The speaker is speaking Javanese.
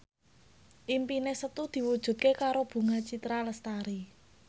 impine Setu diwujudke karo Bunga Citra Lestari